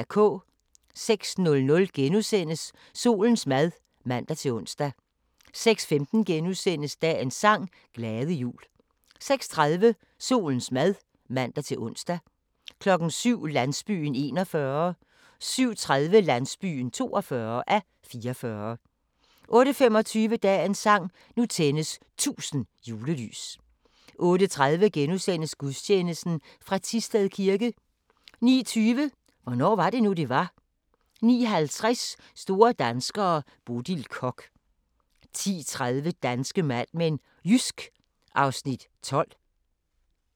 06:00: Solens mad *(man-ons) 06:15: Dagens sang: Glade jul * 06:30: Solens mad (man-ons) 07:00: Landsbyen (41:44) 07:30: Landsbyen (42:44) 08:25: Dagens sang: Nu tændes 1000 julelys 08:30: Gudstjeneste fra Thisted kirke * 09:20: Hvornår var det nu, det var? 09:50: Store danskere - Bodil Koch 10:30: Danske Mad Men: Jysk (Afs. 12)